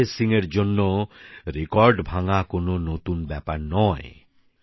নিরঞ্জয় সিং এর জন্য রেকর্ড ভাঙ্গা কোনো নতুন ব্যাপার নয়